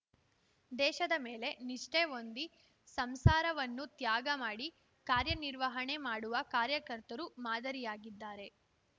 ದೇಶದ ಮೇಲೆ ನಿಷ್ಠೆ ಹೊಂದಿ ಸಂಸಾರವನ್ನು ತ್ಯಾಗ ಮಾಡಿ ಕಾರ್ಯನಿರ್ವಹಣೆ ಮಾಡುವ ಕಾರ್ಯಕರ್ತರು ಮಾದರಿಯಾಗಿದ್ದಾರೆ